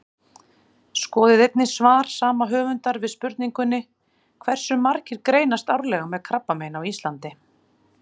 Skoðið einnig svar sama höfundar við spurningunni Hversu margir greinast árlega með krabbamein á Íslandi?